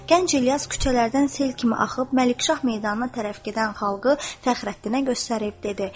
Gənc İlyas küçələrdən sel kimi axıb Məlikşah meydanına tərəf gedən xalqı Fəxrəddinə göstərib dedi: